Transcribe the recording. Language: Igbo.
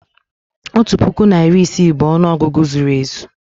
otu puku na iri isii bụ ọnụ ọgụgụ zuru ezu